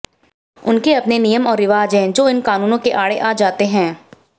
उनके अपने नियम और रिवाज हैं जो इन कानूनों के आड़े आ जाते हैं